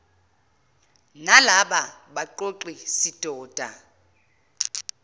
nalaba baqoqi sidoda